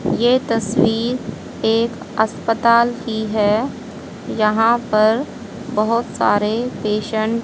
ये तस्वीर एक अस्पताल की है यहां पर बहोत सारे पेशेंट --